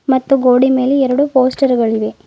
ಮತ್ತು ಗೋಡಿ ಮೇಲೆ ಎರಡು ಪೋಸ್ಟರ್ ಗಳಿವೆ.